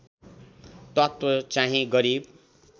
तत्त्व चाहिँ गरिब